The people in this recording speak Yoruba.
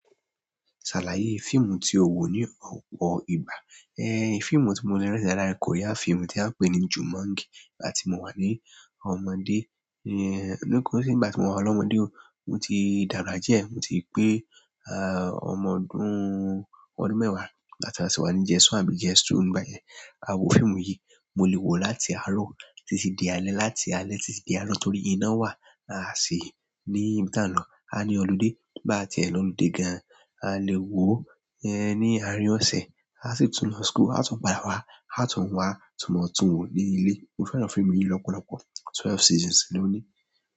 Salaye fimu ti o wo ni ọpọ ìgbà ẹ̀ fíìmù tí mo lè rántí dáadáa ni Korea fíìmù tí a ń pè ní Jumangi. Nígbà tí mo wà ní ọmọdé, nígbà tí mo wà lọ́mọdé o, mo ti dàgbà diẹ, mo ti pé à ọmọ ọdún ọdún mẹ́wàá nígbà tí a sì wà ní JS1 àbí JS2 nígbà yẹn. A wo fíìmù yìí, mo lè wo láti àárọ̀ títí di alé, láti alé títí di àárọ̀ torí iná wà. A sì ní ibi ti an lọ, a ní ọludé bá à ti ẹ lọ́ludé gan, a lè wo ó ní àárín ọ̀sẹ̀. A sì tún lọ school, a tún padà wá, a tún wá tún máa tún wò ó ní ilé. Mo fẹ́ràn fíìmù yìí lọ́pọ̀lọ́pọ̀. Twelve seasons ló ní.